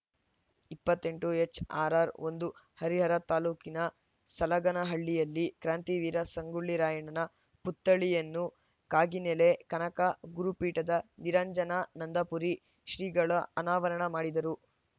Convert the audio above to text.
ಇಪ್ಪತ್ತ್ ಎಂಟು ಎಚ್‌ಆರ್‌ಆರ್‌ ಒಂದು ಹರಿಹರ ತಾ ಸಲಗನಹಳ್ಳಿಯಲ್ಲಿ ಕ್ರಾಂತಿವೀರ ಸಂಗೊಳ್ಳಿ ರಾಯಣ್ಣನ ಪುತ್ಥಳಿಯನ್ನು ಕಾಗಿನೆಲೆ ಕನಕ ಗುರುಪೀಠದ ನಿರಂಜನಾನಂದಪುರಿ ಶ್ರೀಗಳು ಅನಾವರಣ ಮಾಡಿದರು